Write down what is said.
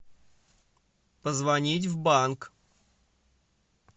позвонить в банк